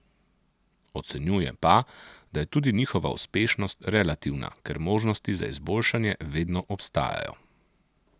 Ocenjuje pa, da je tudi njihova uspešnost relativna, ker možnosti za izboljšanje vedno obstajajo.